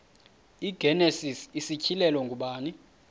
igenesis isityhilelo ngubani